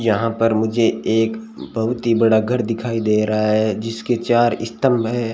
यहां पर मुझे एक बहुत ही बड़ा घर दिखाई दे रहा है जिसके चार स्तंभ हैं।